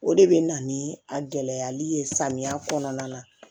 O de bɛ na ni a gɛlɛyali ye samiya kɔnɔna na